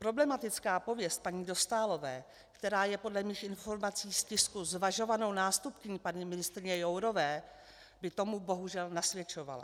Problematická pověst paní Dostálové, která je podle mých informací z tisku zvažovanou nástupkyní paní ministryně Jourové, by tomu bohužel nasvědčovala.